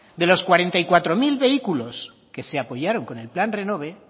de los cuarenta y cuatro mil vehículos que se apoyaron con el plan renove